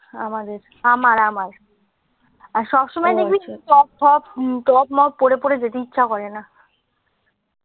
আমাদের আমার আমার আর সব সময় দেখবি টপ টপ টপ মপ পরে ফরে যেতে ইচ্ছা করে না